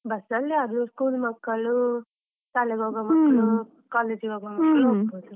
bus ಅಲ್ಲಿ ಯಾರು school ಮಕ್ಕಳು, ಶಾಲೆಗೆ ಹೋಗುವ college ಗೆ ಹೋಗುವ ಮಕ್ಳು.